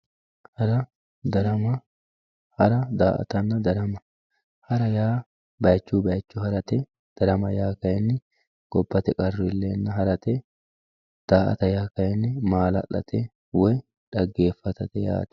hara darama hara daa"atanna darama, hara yaa baychuy baycho harate darama yaa gobbate qarru iilleenna daramate daa"ata yaa kayni maala'late woy xaggeeffatate yaate.